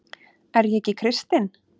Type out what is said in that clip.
Er ég ekki kristinn?